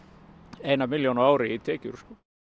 eina milljón á ári í tekjur